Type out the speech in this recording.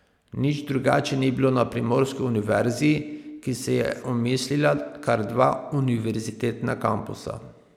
Nič drugače ni bilo na primorski univerzi, ki se je omislila kar dva univerzitetna kampusa.